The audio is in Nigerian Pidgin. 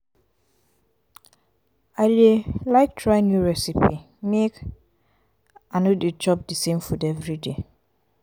i dey like try new recipe make um i no dey chop di same food everyday.